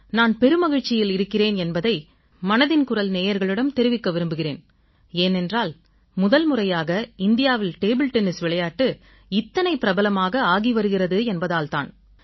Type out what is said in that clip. நான் பெருமகிழ்ச்சியில் இருக்கிறேன் என்பதை மனதின் குரல் நேயர்களிடம் தெரிவிக்க விரும்புகிறேன் ஏனென்றால் முதன்முறையாக இந்தியாவில் டேபிள் டென்னிஸ் விளையாட்டு இத்தனை பிரபலமாக ஆகி வருகிறது என்பதால் தான்